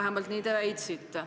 vähemalt nii te väitsite.